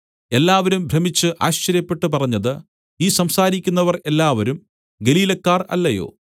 എല്ലാവരും ഭ്രമിച്ച് ആശ്ചര്യപ്പെട്ടു പറഞ്ഞത് ഈ സംസാരിക്കുന്നവർ എല്ലാവരും ഗലീലക്കാർ അല്ലയോ